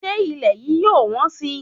Ṣé ilẹ̀ yìí yóò wọ́n sì?